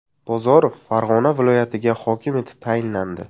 Bozorov Farg‘ona viloyatiga hokim etib tayinlandi.